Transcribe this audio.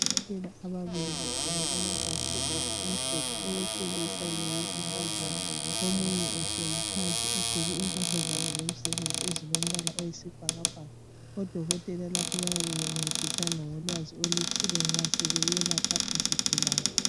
Odokotela ababili begqoke amabhatshi amhlophe owesilisa lowesifazana, omunye ehleli phansi egqoke impahla zabo zomsebenzi ezilombala oyisibhakabhaka. Odokotela lapho bayabe bencedisana ngolwazi oluthile nxa sebeyelapha izigulane.